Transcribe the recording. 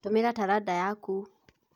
Tũmira taranda yaku